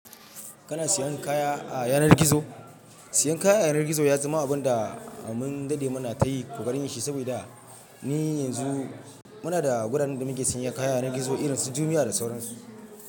Kana siyan kaya a yanar gizo? Siyan kaya a yanar gizo ya zama abun da mun dade muna ta yi kokarin shi, saboda ni yanzu muna da gudanar da muke siyan kaya a yanar gizo irin su jumiya da sauransu.